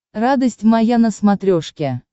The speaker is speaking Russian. радость моя на смотрешке